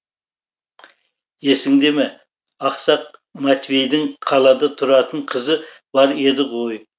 есіңде ме ақсақ матвейдің қалада тұратын қызы бар еді ғой